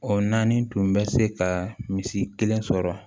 O naani tun bɛ se ka misi kelen sɔrɔ